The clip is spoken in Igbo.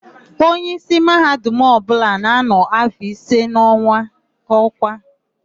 Onyeísí Mahadum ọbụla ga-anọ áfọ̀ ise n'ọ́kwá.